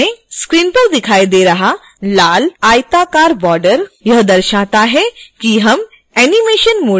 screen पर दिखाई दे रहा लाल आयताकार बॉर्डर यह दर्शाता है कि हम animation mode में हैं